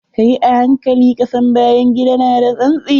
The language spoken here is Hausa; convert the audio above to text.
Kayi a hankali, ƙasan bayan gida na da tsantsi.